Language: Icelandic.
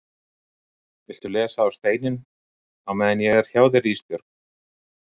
Viltu lesa á steininn á meðan ég er hjá þér Ísbjörg?